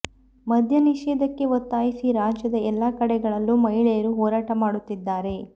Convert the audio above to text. ಮದ್ಯ ನಿಷೇಧಕ್ಕೆ ಒತ್ತಾಯಿಸಿ ರಾಜ್ಯದ ಎಲ್ಲ ಕಡೆಗಳಲ್ಲೂ ಮಹಿಳೆಯರು ಹೋರಾಟ ಮಾಡುತ್ತಿದ್ದಾರೆ